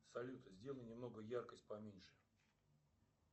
салют сделай немного яркость поменьше